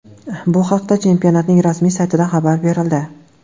Bu haqda chempionatning rasmiy saytida xabar berildi .